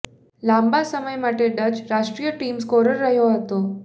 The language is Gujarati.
લાંબા સમય માટે ડચ રાષ્ટ્રીય ટીમ સ્કોરર રહ્યો હતો